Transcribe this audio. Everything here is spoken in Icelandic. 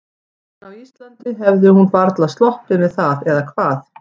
En á Íslandi hefði hún varla sloppið með það, eða hvað?